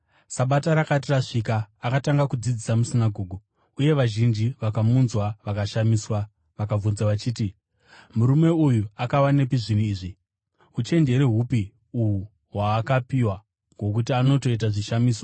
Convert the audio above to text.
Sabata rakati rasvika, akatanga kudzidzisa musinagoge, uye vazhinji vakamunzwa vakashamiswa. Vakabvunza vachiti, “Murume uyu akawanepi zvinhu izvi? Uchenjeri hupi uhu hwaakapiwa hwokuti anotoita zvishamiso?